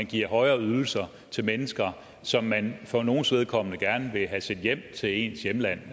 giver højere ydelser til mennesker som man for nogles vedkommende gerne vil have sendt hjem til hjemlandet